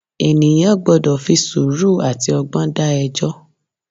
Ènìyàn gbọ́dọ̀ fi sùúrù àti ọgbọ́n dá ẹjọ́.